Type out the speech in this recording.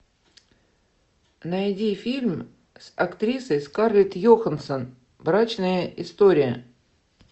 найди фильм с актрисой скарлетт йоханссон брачная история